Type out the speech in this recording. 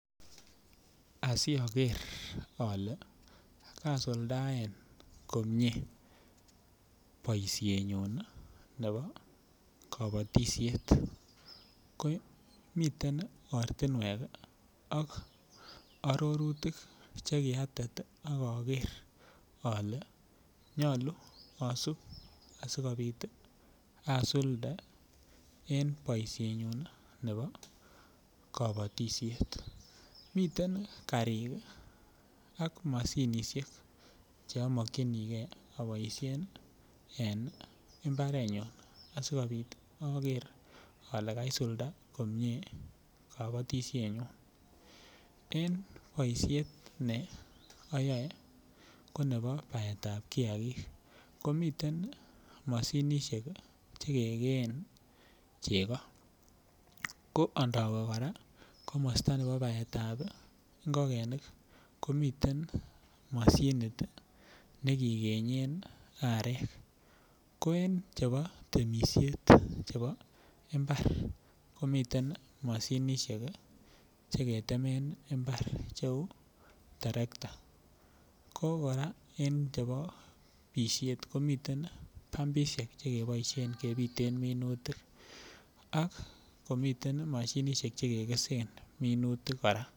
Asiaker ale kasuldaen komie boisienyun ne bo kabatisiet miten ortinwek ak arorutik chekiatet ak aker ale nyolu asup asikobit asulde en boisienyun ne bo kabatisiet, miten karik ak mashinishek cheamkokyini ge aboisien en mbarenyun asikobit akere ale kaisulda komie kabatisienyun en boisiet ne ayoe ko nebo baetab kiagik komiten mashinishek chekekeen cheko, ko andowe kora komosta nebo baetab ng'okenik komiten mashinit nekikenye arek, ko en chebo temisiet ne bo mbar komiten mashinishek cheketemen mbar cheu terekta ko kora en chebo bishet komii bumbishek chekeboisien kebiten minutik ,ak komiten mashinishek chekekesen minutik kora.